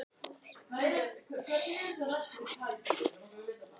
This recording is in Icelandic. Verum í hálftíma enn, gerðu það.